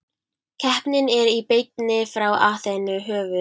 Keppnin er í beinni frá Aþenu, höfuð